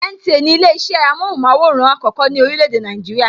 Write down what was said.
NTA ni ile isẹ amóhùnmaworan àkọ́kọ́ ní orílè èdè Nàìjíríà.